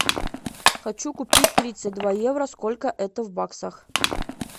хочу купить тридцать два евро сколько это в баксах